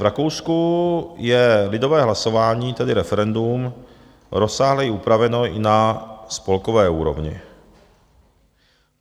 V Rakousku je lidové hlasování, tedy referendum, rozsáhleji upraveno i na spolkové úrovni.